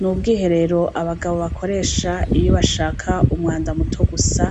N’ubwiherero abagabo bakoresha iyo bashaka umwanda muto gusa